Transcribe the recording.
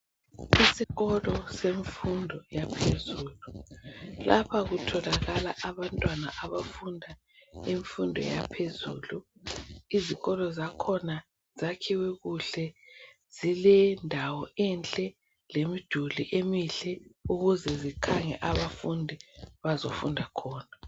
esikolo emfundo yaphezulu lapha kutholakala abantu abafunda imfudo yaphezulu izikolo zakhona zakhiwe kuhle zile ndawo enhle lemiduli emihle ukuze zikhange abafundi bazefunda khona